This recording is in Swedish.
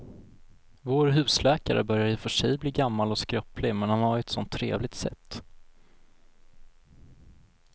Vår husläkare börjar i och för sig bli gammal och skröplig, men han har ju ett sådant trevligt sätt!